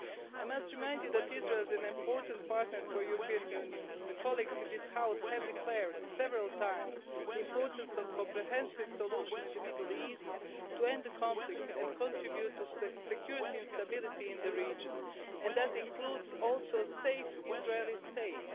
I must remind you that Israel is an important partner for the European Union. Colleagues in this House have declared several times the importance of a comprehensive solution in the Middle East to end the conflict and contribute to the security and stability in the region, and that includes also a safe Israeli state.